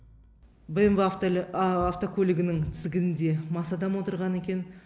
бмв автокөлігінің тізгінінде мас адам отырған екен